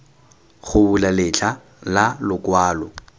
go bula letlha la lokwalo